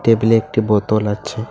Table -এ একটি বোতল আছে।